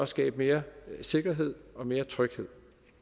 skabe mere sikkerhed og mere tryghed